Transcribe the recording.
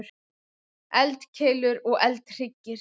Eldkeilur og eldhryggir.